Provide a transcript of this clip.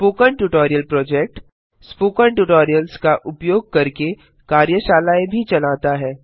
spoken tutorial project - spoken tutorials का उपयोग करके कार्यशालाएँ भी चलाता है